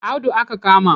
Audu aka kama